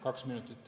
Kaks minutit.